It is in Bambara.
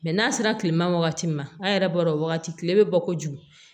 n'a sera kilema wagati ma an yɛrɛ b'a dɔn o wagati kile bɛ bɔ kojugu